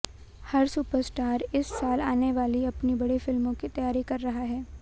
हर superstar इस साल आने वाली अपनी बड़ी फिल्मों की तैयारी कर रहा है